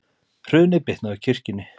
Hrunið bitnaði á kirkjunni